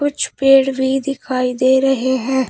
कुछ पेड़ भी दिखाई दे रहे हैं।